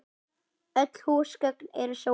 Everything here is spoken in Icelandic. Öll húsgögn eru sófar